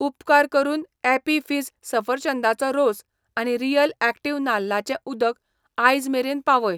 उपकार करून Appy Fizz सफरचंदाचो रोस आनी रियल ॲक्टिव नाल्लाचें उदक आयज मेरेन पावय.